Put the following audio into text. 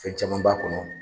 fɛn caman b'a kɔnɔ.